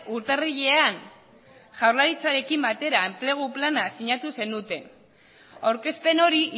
urtarrilean jaurlaritzarekin batera enplegu plana sinatu zenuten aurkezpen hori